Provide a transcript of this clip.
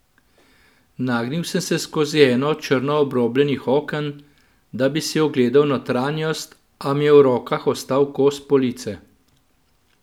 Nagnil sem se skozi eno od črno obrobljenih oken, da bi si ogledal notranjost, a mi je v rokah ostal kos police.